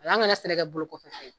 an gana sɛnɛ kɛ bolo kɔfɛ fɛn ye.